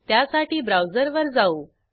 येथे उपलब्ध प्रती 1 ने वाढवत आहोत